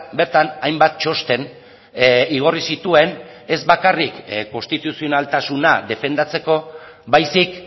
bertan hainbat txosten igorri zituen ez bakarrik konstituzionaltasuna defendatzeko baizik